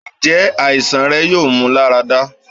njẹ aisan rẹ yoo mu larada?